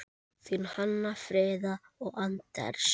Þín Hanna Fríða og Anders.